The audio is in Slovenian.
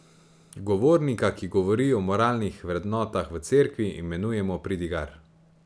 Govornika, ki govori o moralnih vrednotah v cerkvi, imenujemo pridigar.